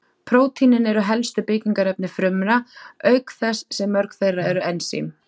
Prótínin eru helstu byggingarefni frumna, auk þess sem mörg þeirra eru ensím.